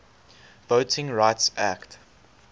voting rights act